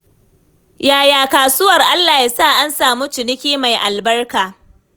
Yaya kasuwar? Allah ya sa an samu ciniki mai albarka.